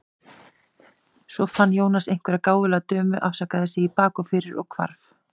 Svo fann Jónas einhverja gáfulega dömu, afsakaði sig í bak og fyrir og hvarf.